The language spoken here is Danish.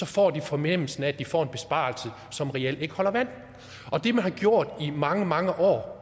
får en fornemmelse af at de får en besparelse som reelt ikke holder vand det man har gjort i mange mange år